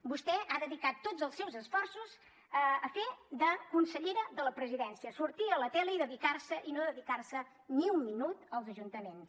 vostè ha dedicat tots els seus esforços a fer de consellera de la presidència sortir a la tele i no dedicar se ni un minut als ajuntaments